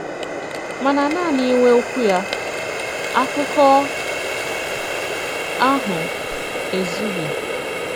Màna nanị ìnwè Òkwù ya, àkụ̀kọ àhụ, ezùghì.